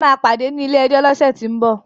We will see in the court next week